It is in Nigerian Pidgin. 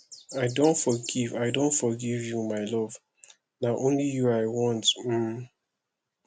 i don forgive i don forgive you my love na only you i want um